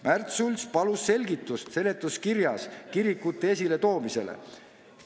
Märt Sults palus selgitust seletuskirjas kirikute esiletoomisele.